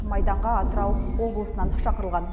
майданға атырау облысынан шақырылған